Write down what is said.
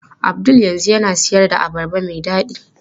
Abdul yanzu yana siyar da abarba mai dadi.